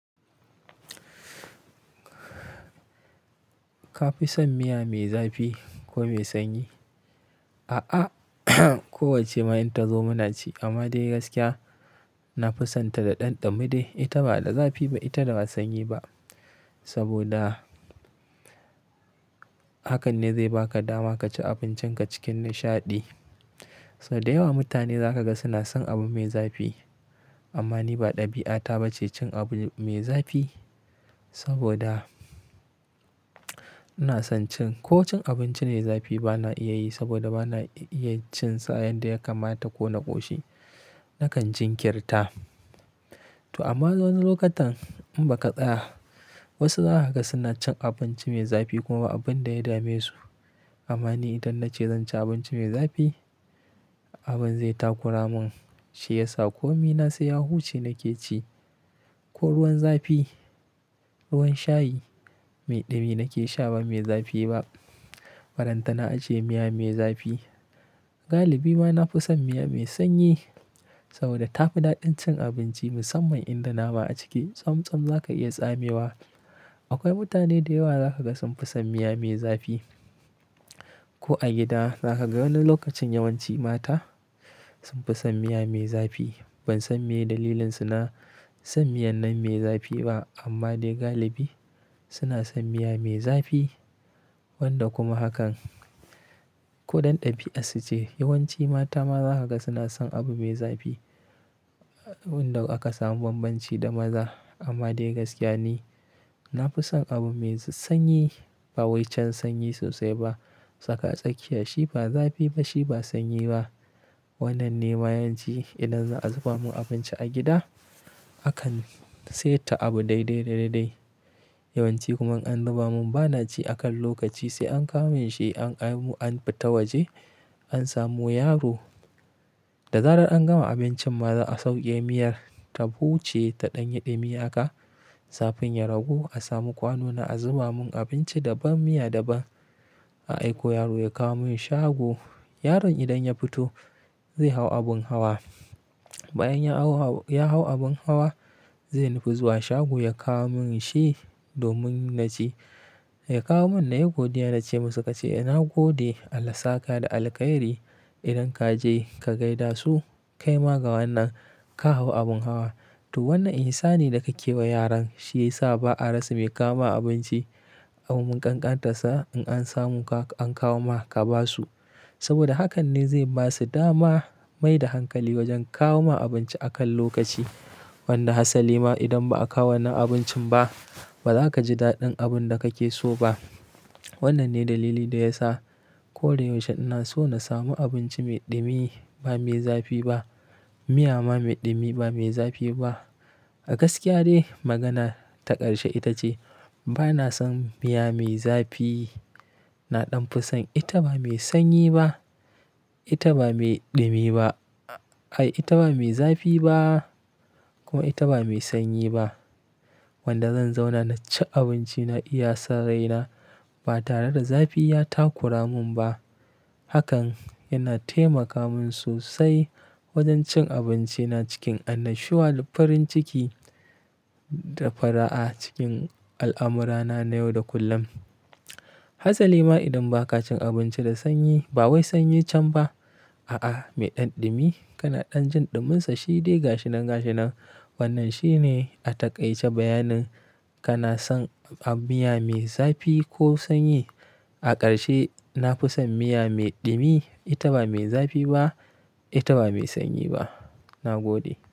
Ka fi son miya mai zafi ko mai sanyi? A'a, kowacce ma in tazo muna ci amma dai gaskiya, na fi son ta da ɗan dume dai. Ita ba da zafi ba, ita da ba sanyi ba. Saboda hakan ne zai baka dama kaci abincinka cikin nishaɗi. Sau da yawa mutane za ka ga suna son abu mai zafi amma ni ba ɗabi'ata ba ce cin abu mai zafi. Saboda ina son cin-- ko cin abinci ne zafi ba na iya yi saboda ba na iya cin sa a yanda ya kamata ko na ƙoshi. Nakan jin kirta. To amma wani lokutan in ba ka tsaya, wasu zaka ga suna cin abinci mai zafi kuma abun da ya dame su. Amma ni idan na ce zan ci abinci mai zafi, abun zai takura mun, shi yasa ko mi na sai ya huce nake ci. Ko ruwan zafi, ruwan shayi mai ɗumi nake sha ba mai zafi ba. Ballantana ace miya mai zafi. Galibi ma na fi son miya mai sanyi saboda tafi daɗin cin abinci musamman in da nama a ciki, tsam tsam za ka iya tsamewa. Akwai mutane da yawa za ka ga sun fi son miya mai zafi. Ko a gida zaka ga wani lokacin yawanci mata sun fi son miya mai zafi. Ban san me dalilinsu na son miyan nan mai zafi ba amma dai galibi suna son miya mai zafi wanda kuma hakan ko ɗan ɗabi'a suce. Yawanci mata ma zaka ga suna son abu mai zafi wanda aka samu banbanci da maza. Amma dai gaskiya ni, na fi son abu mai sanyi bawai can sanyi sosai ba. Tsaka tsakiya, shi ba zafi ba, shi ba sanyi ba. Wannan ne ma yawanci idan za a zuba mun abinci a gida, akan seta abu daidai, da, daidai. Yawanci kuma in an zuba mun, ba naci a kan lokaci sai an kamun shi an, an fita waje, an samo yaro. Da zarar an gama abincin ma za'a sauke miyar ta huce ta ɗanyi dumi haka. Zafun ya ragu a samu kwano na a zuba mun abinci daban, miya daban. A aiko yaro ya kawo mun shago. Yaron idan ya fito zai hau abun hawa. Bayan ya hau, ya hau abun hawa, zai nufi zuwa shago ya kawo mun shi domin na ci. Ya kawo mun na yi godiya na ce musu kace "Nagode, Allah saka da alkhairi. Idan ka je ka gaida su, kai ma ga wannan ka hau abun hawa." To wannan ihsani dake wa yaran, shi yasa ba a rasa mai kawo ma abinci. Ko mun kankanta sa in an samu ka an kawo ma ka ba su. Saboda hakan ne zai ba su dama mai da hankali wajen kawo ma abinci a kan lokaci. Wanda hassali ma idan ba a kawo wannan abincin ba, ba za ka ji daɗin abun da kake so ba. Wannan ne dalili da yasa ko da yaushe ina so na samu abinci mai ɗumi ba mai zafi ba. Miya ma mai ɗumi ba mai zafi ba. A gaskiya dai magana ta ƙarshe ita ce, ba na son miya mai zafi. Na ɗan fi son ita ba mai sanyi ba, ita ba mai ɗumi ba. Ai, ita ba mai zafi ba kuma ita ba mai sanyi ba. Wanda zan zauna na ci abinci na iya sarraina ba tare da zafi ya takura mun ba. Hakan yana taimaka mun sosai wajen cin abinci na cikin annashuwa da farin ciki da fara'a cikin al'amurana na yau da kullum. Hassali ma idan baka cin abinci da sanyi ba wai sanyi can ba. A'a, me ɗanɗumi. Kana ɗan jin ɗumunsa shi dai gashi nan gashi nan. Wannan shi ne a taƙaice bayanin kana son miya mai zafi ko sanyi. A ƙarshe, na fi son miya mai ɗumi. Ita ba mai zafi ba, ita ba mai sanyi ba. Nagode.